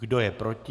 Kdo je proti?